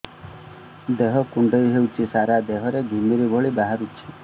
ଦେହ କୁଣ୍ଡେଇ ହେଉଛି ସାରା ଦେହ ରେ ଘିମିରି ଭଳି ବାହାରୁଛି